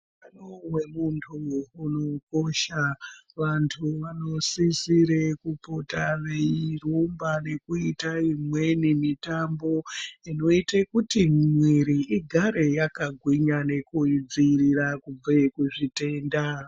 Utano hwemuntu hunokosha vantu vanosisire kupota veirumba nekuita imweni mitambo inoite kuti mwiiri igare yakagwinya nekuidzivirira kubve kuzvitenda.